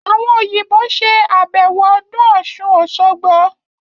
Àwọn Òyìnbó ṣe àbẹ̀wò ọdún Ọ̀ṣun-Òṣogbo